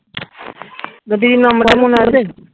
যদি এই নাম্বারে হয় মনে হবে